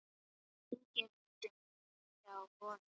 Það hringir út hjá honum.